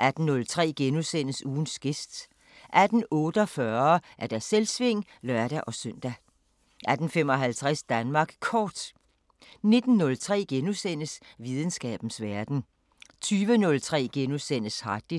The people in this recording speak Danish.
18:03: Ugens gæst * 18:48: Selvsving (lør-søn) 18:55: Danmark Kort 19:03: Videnskabens Verden * 20:03: Harddisken *